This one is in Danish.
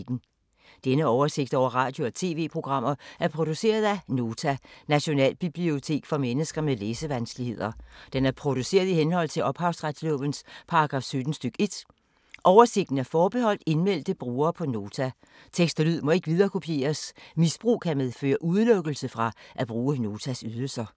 Denne oversigt over radio og TV-programmer er produceret af Nota, Nationalbibliotek for mennesker med læsevanskeligheder. Den er produceret i henhold til ophavsretslovens paragraf 17 stk. 1. Oversigten er forbeholdt indmeldte brugere på Nota. Tekst og lyd må ikke viderekopieres. Misbrug kan medføre udelukkelse fra at bruge Notas ydelser.